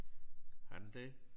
Har den det?